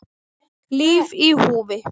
Líf í húfi